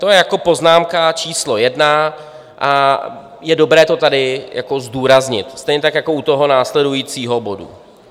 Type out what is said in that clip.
To je jako poznámka číslo jedna a je dobré to tady zdůraznit, stejně tak jako u toho následujícího bodu.